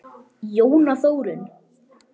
Jóna Þórunn.